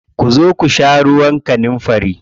Ku zo ku sha ruwan kanunfari.